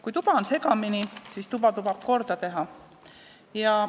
Kui tuba on segamini, siis tuleb see korda teha.